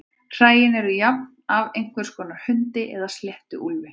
Hræin eru jafnan af einhvers konar hundi eða sléttuúlfi.